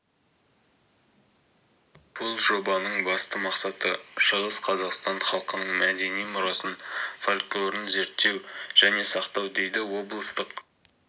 бұл жобаның басты мақсаты шығыс қазақстан халқының мәдени мұрасын фольклорын зерттеу және сақтау дейді облыстық